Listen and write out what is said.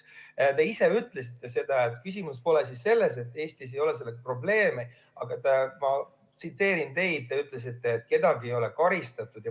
Te ise ütlesite, et küsimus pole mitte selles, et Eestis ei ole sellega probleeme, vaid, ma tsiteerin, te ütlesite, et kedagi ei ole karistatud.